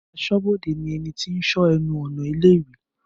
Aṣọ́bodè ni ẹnití ń sọ ẹnu ọ̀nà ilé ìwé